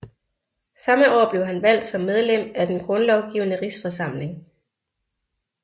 Samme år blev han valgt som medlem af Den grundlovgivende rigsforsamling